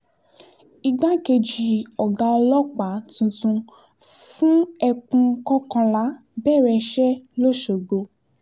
igbákejì ọ̀gá ọlọ́pàá tuntun fún ẹkùn kọkànlá bẹ̀rẹ̀ iṣẹ́ lọ́ṣọ́gbó